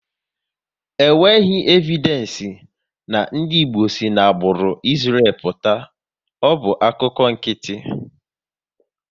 E nweghị evidenci na ndị Igbo si n'agbụrụ Israël pụta, ọ bụ akụkọ nkịtị